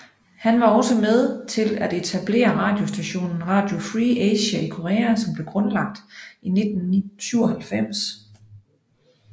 Han var også med til at etablere radiostationen Radio Free Asia i Korea som ble grundlagt i 1997